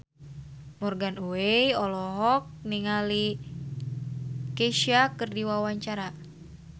Morgan Oey olohok ningali Kesha keur diwawancara